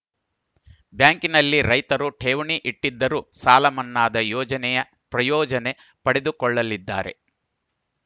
ಬ್ಯಾಂಕ್‌ನಲ್ಲಿ ರೈತರು ಠೇವಣಿ ಇಟ್ಟಿದ್ದರೂ ಸಾಲ ಮನ್ನಾದ ಯೋಜನೆಯ ಪ್ರಯೋಜನೆ ಪಡೆದುಕೊಳ್ಳಲಿದ್ದಾರೆ